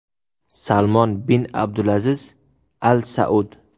Salmon bin Abdulaziz Al Saud.